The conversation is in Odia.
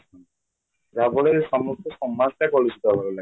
ଯାହାଫଳରେ ସମସ୍ତ ସମାଜ ଟା କଳୁଷିତ ହେବାରେ ଲାଗିଛି